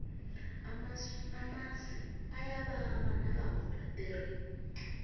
amasi ayababa nakawodwa tere